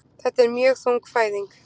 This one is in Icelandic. Þetta er mjög þung fæðing